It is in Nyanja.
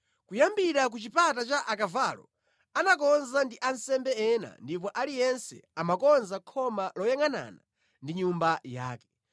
Kuyambira ku Chipata cha Akavalo anakonza ndi ansembe ena ndipo aliyense amakonza khoma loyangʼanana ndi nyumba yake.